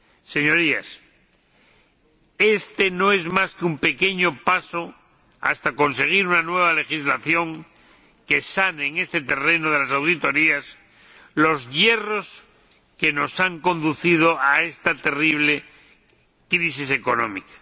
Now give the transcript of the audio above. Señorías, este no es más que un pequeño paso hasta conseguir una nueva legislación que sane, en este terreno de las auditorías, los yerros que nos han conducido a esta terrible crisis económica.